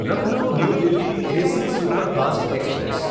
Lucknow New Delhi AC superfast express